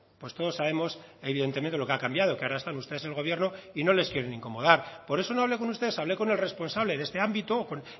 pues todos sabemos evidentemente lo que ha cambiado que ahora están ustedes en el gobierno y no les quieren incomodar por eso no hablé con ustedes hablé con el responsable de este ámbito con